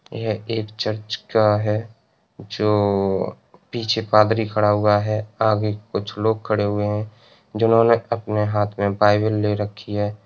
ये एक चर्चगाह है जो पीछे पादरी खड़ा हुआ है। आगे कुछ लोग खड़े हुए हैं। जिन्होंने आपने हाथ में बाइबिल ले रखी है।